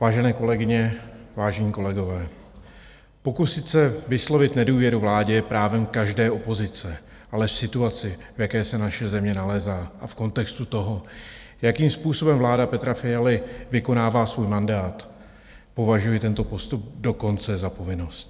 Vážené kolegyně, vážení kolegové, pokusit se vyslovit nedůvěru vládě je právem každé opozice, ale v situaci, v jaké se naše země nalézá, a v kontextu toho, jakým způsobem vláda Petra Fialy vykonává svůj mandát, považuji tento postup dokonce za povinnost.